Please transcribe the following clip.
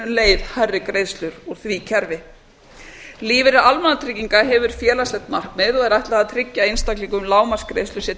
leið hærri greiðslur úr því kerfi lífeyrir almannatrygginga hefur félagslegt markmið og er ætlað að tryggja einstaklingum lágmarksgreiðslur sér til